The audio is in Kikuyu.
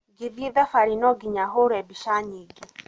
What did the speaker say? Ngĩthiĩ thabarĩ no nginya here mbica nyingĩ.